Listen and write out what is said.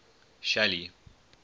shelly